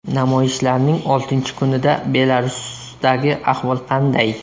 Namoyishlarning oltinchi kunida Belarusdagi ahvol qanday?